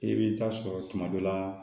I bɛ taa sɔrɔ tuma dɔ la